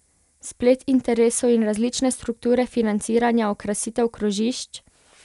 Splet interesov in različne strukture financiranja okrasitev krožišč?